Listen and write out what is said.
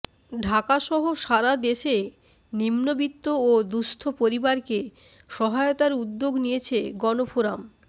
ঢাকাসহ সারাদেশে নিম্নবিত্ত ও দুঃস্থ পরিবারকে সহায়তার উদ্যোগ নিয়েছে গণফোরাম